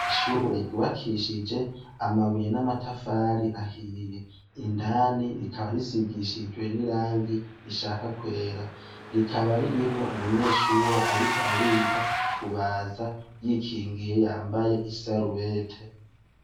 Ishure giwakishije amabuye n'amatafari ahiye indani rikaba risigishijwe n'i rangi rishaka kwera rikaba ririmwo umunyeshure, ariko ariga kubaza yikingiye yambaye isarubete.